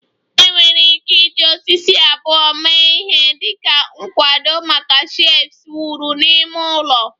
Enwere ike iji osisi abụọ mee ihe dị ka nkwado maka shelves wuru n'ime ụlọ